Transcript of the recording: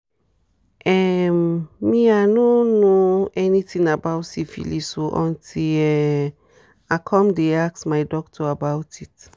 um me i no know anything about syphilis o until um i come the ask my doctor about it